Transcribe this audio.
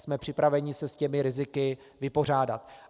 Jsme připraveni se s těmi riziky vypořádat.